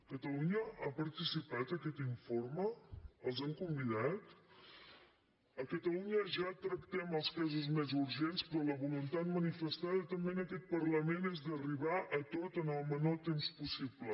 catalunya ha participat en aquest informe els hi han convidat a catalunya ja tractem els casos més urgents però la voluntat manifestada també en aquest parlament és d’arribar a tot en el menor temps possible